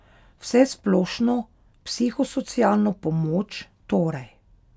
Vsesplošno psihosocialno pomoč torej.